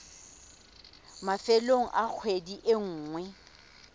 mafelong a kgwedi e nngwe